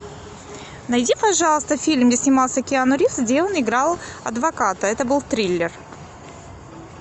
найди пожалуйста фильм где снимался киану ривз где он играл адвоката это был триллер